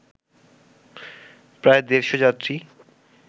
প্রায় দেড়’শ যাত্রী